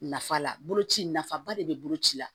Nafa la bolo ci nafaba de be bolo ci la